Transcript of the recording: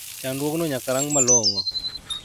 Chandruogno nyaka rang malong`o.